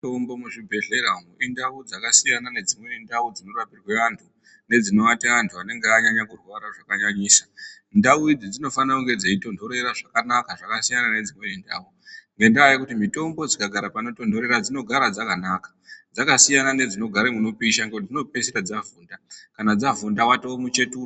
Mitombo muzvibhedhlera umu, nentau dzakasiya nedzimwe ntau dzinorapirwe vantu, nedzinovata vantu vanenge vanyanya kurwara zvakanyanyisa. Ntau idzi dzinofanire kunge dzeitonhorera zvakanaka dzakasiyana nedzimwe ntau ngendaa yekuti mitombo dzikagara panotonhorera dzinogara dzakanaka, dzakasiyana nedzinogare munopisha ngekuti dzinopedzisira dzavhunda, kana dzavhunda watove muchetura.